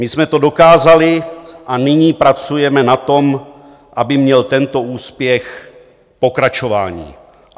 My jsme to dokázali a nyní pracujeme na tom, aby měl tento úspěch pokračování.